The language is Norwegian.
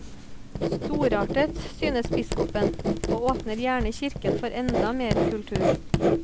Storartet, synes biskopen, og åpner gjerne kirken for enda mer kultur.